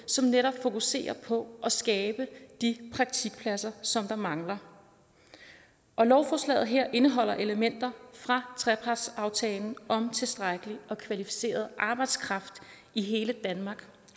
som netop fokuserer på at skabe de praktikpladser som mangler og lovforslaget her indeholder elementer fra trepartsaftalen om tilstrækkelig og kvalificeret arbejdskraft i hele danmark